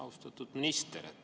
Austatud minister!